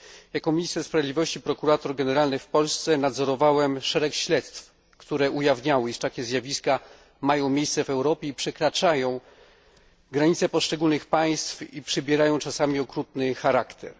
Jako minister sprawiedliwości i prokurator generalny w Polsce nadzorowałem szereg śledztw, które ujawniały, iż takie zjawiska mają miejsce w Europie, przekraczają granice poszczególnych państw i przybierają czasami okrutny charakter.